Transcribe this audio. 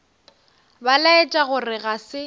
ba laetša gore ga se